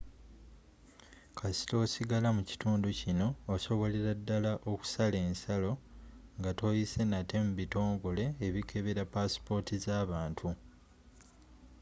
kasita osigala mu kitundu kino osobolera ddala okusala ensalo nga toyise nate mu bitongole ebikebera passipoota z'abantu